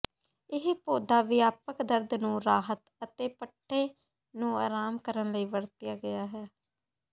ਇਹ ਪੌਦਾ ਵਿਆਪਕ ਦਰਦ ਨੂੰ ਰਾਹਤ ਅਤੇ ਪੱਠੇ ਨੂੰ ਆਰਾਮ ਕਰਨ ਲਈ ਵਰਤਿਆ ਗਿਆ ਹੈ